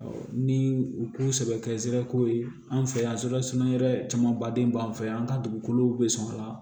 ni u k'u sɛbɛ kɛ ko ye an fɛ yan camanbadenw b'an fɛ yan an ka dugukolow bɛ sɔn a la